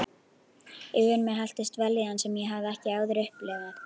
Yfir mig helltist vellíðan sem ég hafði ekki áður upplifað.